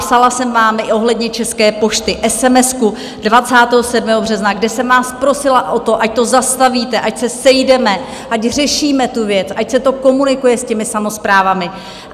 Psala jsem vám i ohledně České pošty esemesku 27. března, kde jsem vás prosila o to, ať to zastavíte, ať se sejdeme, ať řešíme tu věc, ať se to komunikuje s těmi samosprávami.